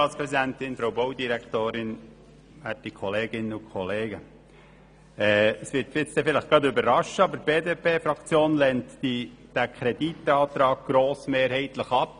Es wird Sie jetzt vielleicht überraschen, aber die BDP lehnt diesen Kreditantrag grossmehrheitlich ab.